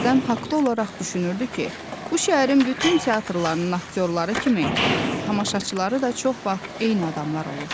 Hərdən haqlı olaraq düşünürdü ki, bu şəhərin bütün teatrlarının aktyorları kimi tamaşaçıları da çox vaxt eyni adamlar olur.